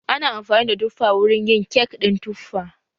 Ana amfani da tuffa wurin yin kek ɗin tuffa